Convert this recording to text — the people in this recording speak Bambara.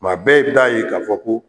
Kuma bɛɛ i bi taa ye k'a fɔ ko